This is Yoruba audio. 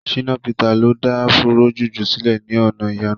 Shina Peter lo da Afúró jùjú sílẹ̀ ní ọ̀nà ìyanu.